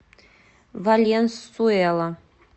валенсуэла